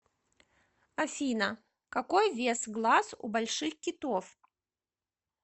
афина какой вес глаз у больших китов